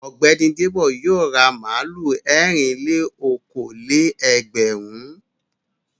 Ọ̀gbẹ́ni Débò yóò ra màlúù ẹ̀rìn-lé-okòó-lé-ẹgbẹ̀rún.